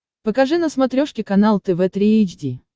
покажи на смотрешке канал тв три эйч ди